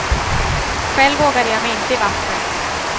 Själv vågade jag mig inte i vattnet.